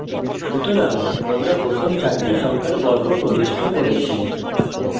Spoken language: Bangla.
সুতরাং আমরা প্রথম চারটি সংখ্যার বর্গ প্রবিষ্ট করেছি